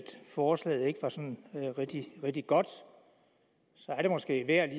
forslaget ikke var sådan rigtig godt så er det måske værd